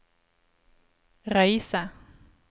Røyse